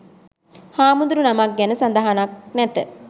හාමුදුරුනමක් ගැන සඳහනක් නැත.